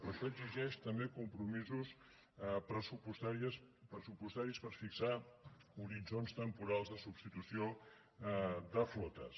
però això exigeix també compromisos pressupostaris per fixar horitzons temporals de substitució de flotes